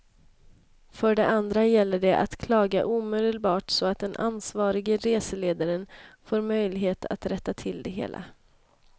För det andra gäller att klaga omedelbart så att den ansvarige reseledaren får möjlighet att rätta till det hela.